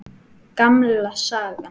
Gamla sagan.